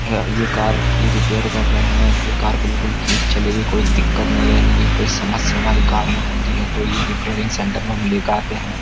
ये कार ये रिपेयर कर रहे हैं ये कार बिल्कुल ठीक चलेगी कोई दिक्कत नहीं रहने की कोई समस्या हमारी कार में होती है तो ये रिपेयरिंग सेंटर में हम लेकर आते हैं।